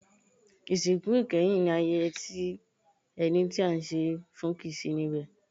Ìsìnkú ìkẹyìn ní ayẹyẹ tí ẹni tí à ń ṣe e fún kìí sí níbẹ̀.